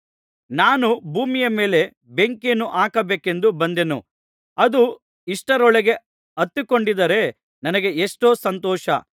ನಾನು ಭೂಮಿಯ ಮೇಲೆ ಬೆಂಕಿಯನ್ನು ಹಾಕಬೇಕೆಂದು ಬಂದೆನು ಅದು ಇಷ್ಟರೊಳಗೆ ಹತ್ತಿಕೊಂಡಿದ್ದರೆ ನನಗೆ ಎಷ್ಟೋ ಸಂತೋಷ